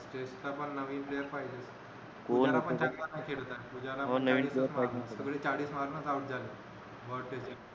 तिथपण नवीन player पाहिजेत